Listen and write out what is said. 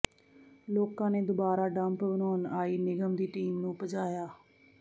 ਲੋਕਾਂ ਨੇ ਦੁਬਾਰਾ ਡੰਪ ਬਣਾਉਣ ਆਈ ਨਿਗਮ ਦੀ ਟੀਮ ਨੂੰ ਭਜਾਇਆ